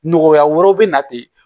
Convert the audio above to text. Nɔgɔya wɛrɛ bɛ na ten